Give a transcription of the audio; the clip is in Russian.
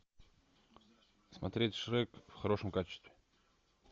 смотреть шрек в хорошем качестве